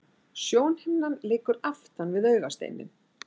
Sjónhimnan liggur aftan við augasteininn.